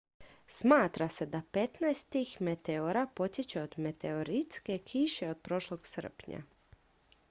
smatra se da petnaest tih meteora potječe od meteoritske kiše od prošlog srpnja